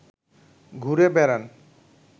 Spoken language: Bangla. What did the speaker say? ঘুরে বেড়ান